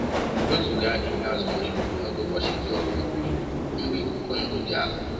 Wezụga ịnye azụ nri n'oge ụbọchi dị ọkụ, mgbe ikuku ndu dị ala